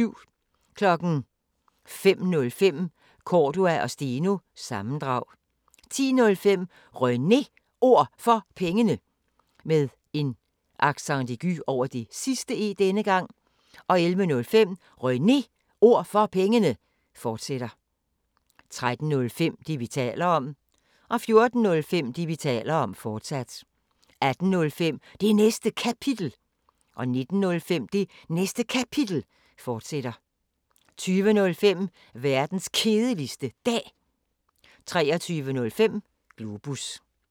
05:05: Cordua & Steno – sammendrag 10:05: René Ord For Pengene 11:05: René Ord For Pengene, fortsat 13:05: Det, vi taler om 14:05: Det, vi taler om, fortsat 18:05: Det Næste Kapitel 19:05: Det Næste Kapitel, fortsat 20:05: Verdens Kedeligste Dag 23:05: Globus